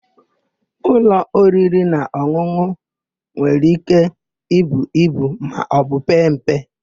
Ụlọ oririnaọn̄ụn̄ụ nwere íké ibu ibu maọbụ pee mpe.